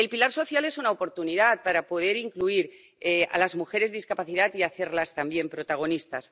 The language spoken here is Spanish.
El pilar social es una oportunidad para poder incluir a las mujeres con discapacidad y hacerlas también protagonistas.